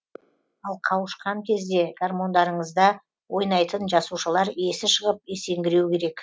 ал қауышқан кезде гармондарыңызда ойнайтын жасушалар есі шығып есеңгіреу керек